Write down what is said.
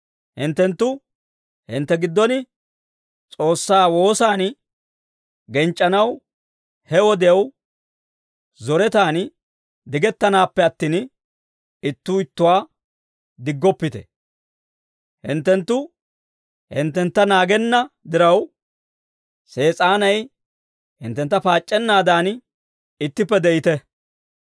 Hinttenttu hintte giddon S'oossaa woosaan genc'c'anaw he wodiyaw zoretan digettanaappe attin, ittuu ittuwaa diggoppite. Hinttenttu hinttentta naagenna diraw, Sees'aanay hinttentta paac'c'ennaadan, ittippe de'ite.